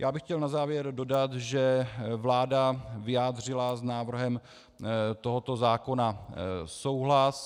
Já bych chtěl na závěr dodat, že vláda vyjádřila s návrhem tohoto zákona souhlas.